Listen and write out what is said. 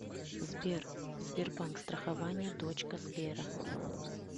сбер сбербанк страхование дочка сбера